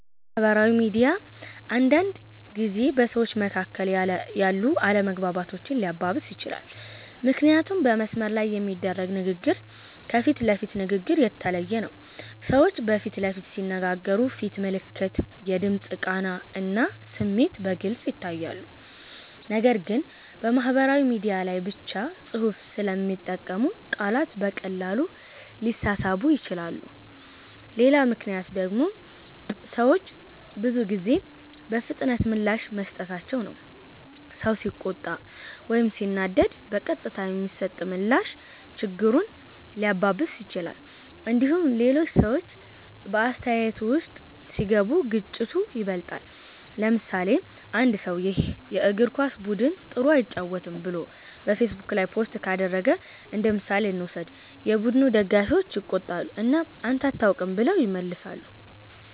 አዎ፣ ማህበራዊ ሚዲያ አንዳንድ ጊዜ በሰዎች መካከል ያሉ አለመግባባቶችን ሊያባብስ ይችላል። ምክንያቱም በመስመር ላይ የሚደረግ ንግግር ከፊት ለፊት ንግግር የተለየ ነው። ሰዎች በፊት ለፊት ሲነጋገሩ ፊት ምልክት፣ የድምፅ ቃና እና ስሜት በግልጽ ይታያሉ። ነገር ግን በማህበራዊ ሚዲያ ላይ ብቻ ጽሁፍ ስለሚጠቀሙ ቃላት በቀላሉ ሊሳሳቡ ይችላሉ። ሌላ ምክንያት ደግሞ ሰዎች ብዙ ጊዜ በፍጥነት ምላሽ መስጠታቸው ነው። ሰው ሲቆጣ ወይም ሲናደድ በቀጥታ የሚሰጥ ምላሽ ችግሩን ሊያባብስ ይችላል። እንዲሁም ሌሎች ሰዎች በአስተያየቱ ውስጥ ሲገቡ ግጭቱ ይበልጣል። ለምሳሌ፣ አንድ ሰው “ይህ የእግር ኳስ ቡድን ጥሩ አይጫወትም” ብሎ በፌስቡክ ላይ ፖስት ካደረገ እንደምሳሌ እንውሰድ። የቡድኑ ደጋፊዎች ይቆጣሉ እና “አንተ አታውቅም” ብለው ይመልሳሉ።